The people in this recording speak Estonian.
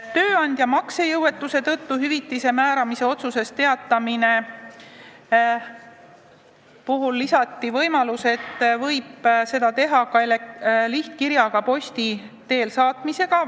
Tööandja maksejõuetuse tõttu hüvitise määramise otsusest teatamise puhul lisati võimalus, et seda võib teha ka, saates posti teel lihtkirja.